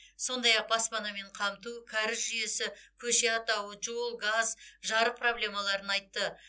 сондай ақ баспанамен қамту кәріз жүйесі көше атауы жол газ жарык проблемаларын айтты